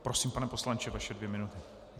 Prosím, pane poslanče, vaše dvě minuty.